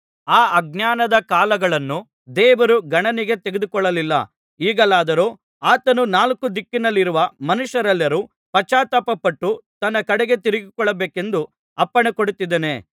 ಆ ಆಜ್ಞಾನದ ಕಾಲಗಳನ್ನು ದೇವರು ಗಣನೆಗೆ ತೆಗೆದುಕೊಳ್ಳಲಿಲ್ಲ ಈಗಲಾದರೋ ಆತನು ನಾಲ್ಕು ದಿಕ್ಕಿನಲ್ಲಿರುವ ಮನುಷ್ಯರೆಲ್ಲರೂ ಪಶ್ಚಾತ್ತಾಪಪಟ್ಟು ತನ್ನ ಕಡೆಗೆ ತಿರುಗಿಕೊಳ್ಳಬೇಕೆಂದು ಅಪ್ಪಣೆಕೊಡುತ್ತಿದ್ದಾನೆ